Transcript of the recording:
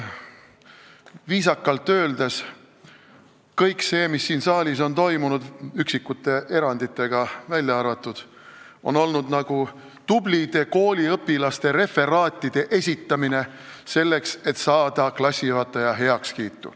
Viisakalt öeldes on kõik see, mis siin saalis on toimunud, üksikud erandid välja arvatud, olnud nagu tublide kooliõpilaste referaatide esitamine, selleks et saada klassijuhataja heakskiitu.